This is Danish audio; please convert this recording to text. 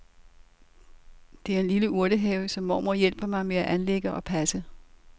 Det er en lille urtehave som mormor hjælper mig med at anlægge og passe.